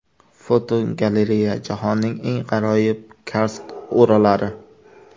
Fotogalereya: Jahonning eng g‘aroyib karst o‘ralari.